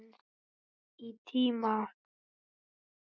Í tíma.